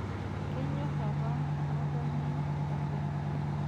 Kenyorr apa ng'otonye oleng'.